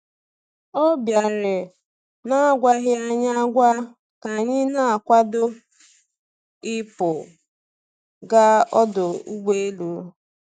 Ọ bịara n’agwaghị anyị agwa ka anyị na-akwado ịpụ gaa ọdụ ụgbọ elu.